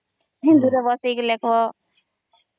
ହିନ୍ଦୀ ରେ ବସେଇକି ଳେଖବ